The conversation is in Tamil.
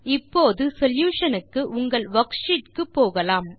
இப்போது சொல்யூஷன் க்கு உங்கள் வர்க்ஷீட் க்கு போகலாம்